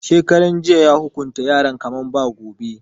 Shekaran jiya ya hukunta yaran kamar ba gobe.